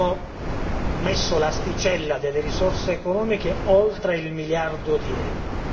Abbiamo messo l'asticella delle risorse economiche oltre il miliardo di euro.